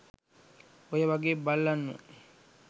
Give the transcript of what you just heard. ඔය වගෙ බල්ලන්ව